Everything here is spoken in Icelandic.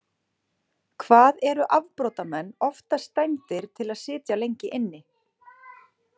Hvað eru afbrotamenn oftast dæmdir til að sitja lengi inni?